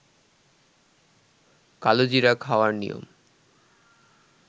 কালোজিরা খাওয়ার নিয়ম